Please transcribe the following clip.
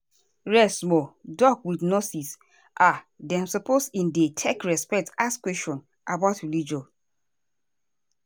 rest smallah doc with nurse um dem supposeas in dey take respect ask questions about religion.